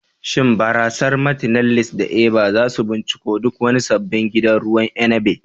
Shin barasar "Martineliss" da "Eva" za su binciko duk wani sabbin gidan ruwan inabi.